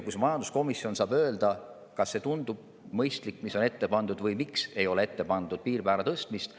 Siis majanduskomisjon saab öelda, kas see tundub mõistlik, mis on ette pandud, või miks ei ole ette pandud piirmäära tõstmist.